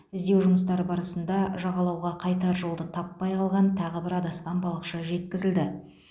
іздеу жұмыстары барысында жағалауға қайтар жолды таппай қалған тағы бір адасқан балықшы жеткізілді